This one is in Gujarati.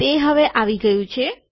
તે હવે આવી ગયું છે